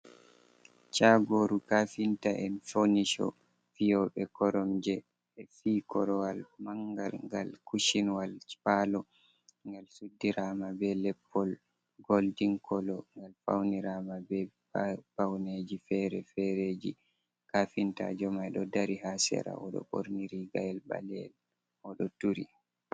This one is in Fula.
Chaagooru Kaafinta en Fonisho fiyu6e koromje, 6e fii korowal mangal ngal kushinwalji Paalo ngal suddirama beh leppol goldin kolo ngal pauniraama be pauneeji fere fere Kaafintaajo mai đo dari haa shera ođo 6orni rigayel 6aleyel ođo turi.